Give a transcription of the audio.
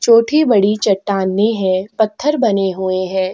छोटी- बड़ी चट्टानें है पत्थर बने हुए हैं।